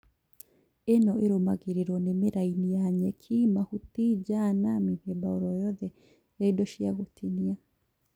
ĩno irũmagĩrĩrwo nĩ mĩraini ya nyeki, mahuti Jana mĩthemba Oro yothe ya indo cia gũtinia